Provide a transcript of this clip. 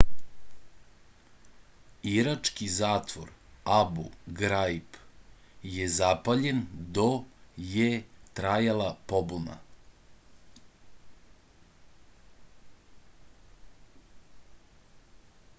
irački zatvor abu graib je zapaljen do je trajala pobuna